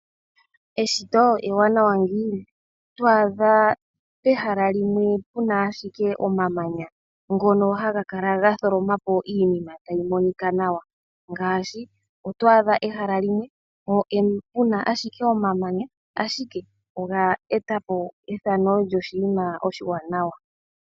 Eshito ewanawa ngiini? Oto adha pehala limwe puna ashike omamanya, ngono haga kala ga tholoma po iinima tayi monika nawa. Ngaashi, oto adha ehala limwe, puna ashike omamanya, ashike oge etapo oshinima oshiwanawa.